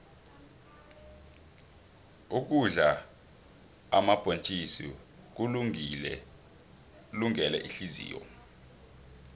ukudla omabhontjisi kulungele ihliziyo